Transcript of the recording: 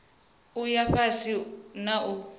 u ya fhasi na u